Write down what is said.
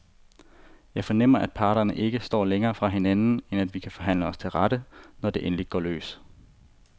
Jeg fornemmer, at parterne ikke står længere fra hinanden, end at vi kan forhandle os til rette, når det endelig går løs.